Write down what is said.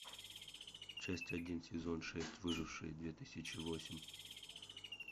часть один сезон шесть выжившие две тысячи восемь